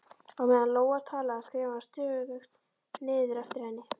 Á meðan Lóa talaði, skrifaði hann stöðugt niður eftir henni